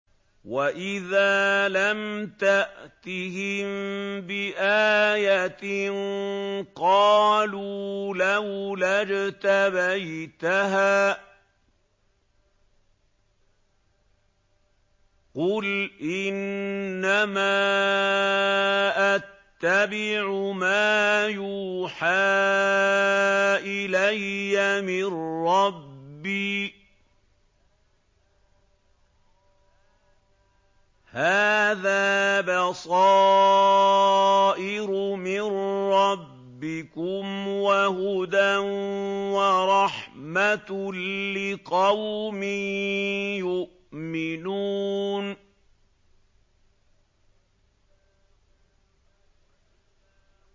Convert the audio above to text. وَإِذَا لَمْ تَأْتِهِم بِآيَةٍ قَالُوا لَوْلَا اجْتَبَيْتَهَا ۚ قُلْ إِنَّمَا أَتَّبِعُ مَا يُوحَىٰ إِلَيَّ مِن رَّبِّي ۚ هَٰذَا بَصَائِرُ مِن رَّبِّكُمْ وَهُدًى وَرَحْمَةٌ لِّقَوْمٍ يُؤْمِنُونَ